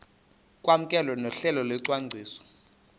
kwamkelwe nohlelo lwesicwangciso